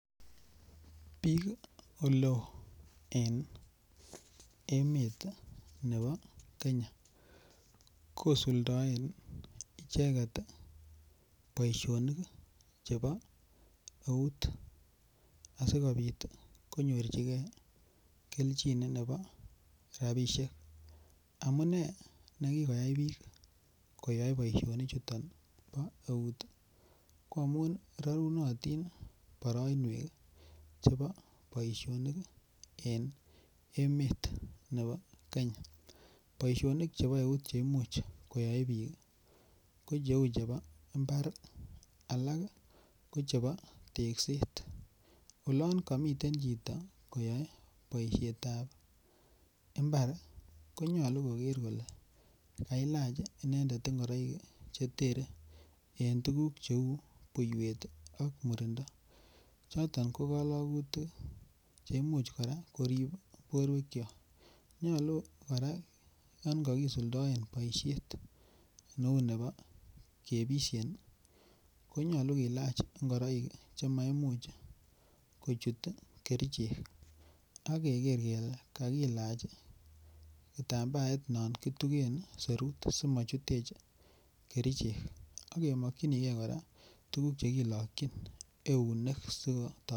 Bik oleo en emetab Kenya kosuldaen icheget boisionik chebo eut chebo eut asikobit konyorchigei kelchin nebo rabisiek amune nekikoyai bik koyoe boisionik chuton bo eut ko amun rarunotin boroinwek chebo boisionik en emet nebo Kenya boisionik chebo eut Che Imuch koyoe bik ko cheu mbar alak ko chebo tekset olon komiten chito koyoe boisiet ab mbar ko nyolu koger kole kailach inendet ngoroik Che terei en tuguuk cheu buiywet ak murindo choton ko kologutik cheribe borwekyok nyolu kora yon kakisuldaen boisiet neu nebo kebisyen ko nyolu kilach ngoroik Che maimuch kochut kerichek ak keger kele kakilach kitambaet non kitugen serut asi mochutech kerichek ak kemokyinige kora tuguk Che kilokyin eunek